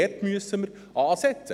Dort müssen wir ansetzen.